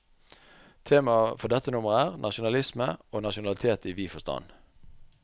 Temaet for dette nummer er, nasjonalisme og nasjonalitet i vid forstand.